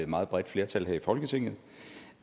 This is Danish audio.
meget bredt flertal her i folketinget